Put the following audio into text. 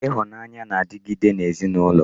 Ịhụnanya na-adịgide n'ezinụlọ